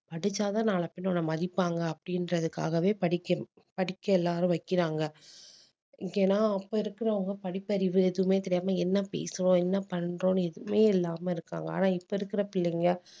படிச்சாதான் நாளை பின்ன உன்னை மதிப்பாங்க அப்படின்றதுக்காகவே படிக்கணும் படிக்க எல்லாரும் வைக்கிறாங்க ஏன்னா அப்ப இருக்கிறவங்க படிப்பறிவு எதுவுமே தெரியாம என்ன பேசுவோம் என்ன பண்றோம்ன்னு எதுவுமே இல்லாம இருக்காங்க ஆனா இப்ப இருக்கிற பிள்ளைங்க